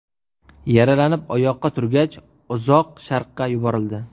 Yaralanib oyoqqa turgach, Uzoq Sharqqa yuborildi.